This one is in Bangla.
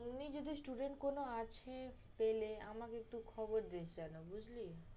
অমনি যদি student কোনো আছে পেলে আমাকে একটু খবর দিস যেনো, বুঝলি?